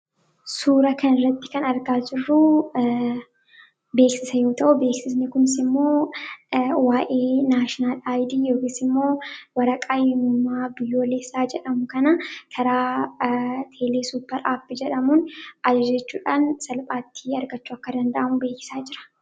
suura kan irratti kan argaa jirruu beeksisa yoo ta'uu beeksisni kumsi immoo waa'ee naasional aaydi yookis immoo warra qayyimumaa biyooleessaa jedhamu kana karaa teelee suppar aapi jedhamuun ajajechuudhaan salphaattii argachuu akka danda'amu beekisaa jira